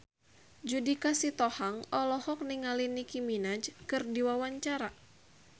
Judika Sitohang olohok ningali Nicky Minaj keur diwawancara